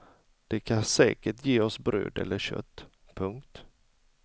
De kan säkert ge oss bröd eller kött. punkt